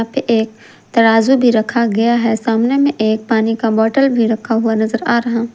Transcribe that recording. यहाँ पे एक तराजू भी रखा गया है सामने में एक पानी का बॉटल भी रखा हुआ नजर आ रहा --